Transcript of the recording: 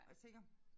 Og så tænker